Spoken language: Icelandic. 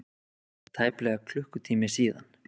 Það er tæplega klukkutími síðan.